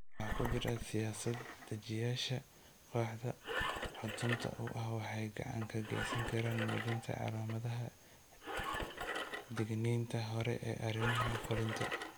Waxaa ku jira siyaasad-dejiyeyaasha kooxda xudunta u ah waxay gacan ka geysan karaan muujinta calaamadaha digniinta hore ee arrimaha fulinta.